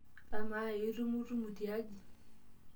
Amaa, itumutumu tiaji?